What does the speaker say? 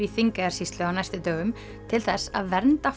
í Þingeyjarsýslu á næstu dögum til þess að vernda